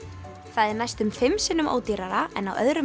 það er næstum fimm sinnum ódýrara en á öðrum